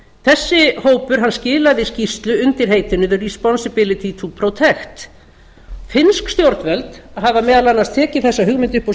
þessi hópur skilaði skýrslu undir heitinu the responsibility to protect finnsk stjórnvöld hafa meðal annars tekið þessa hugmynd upp á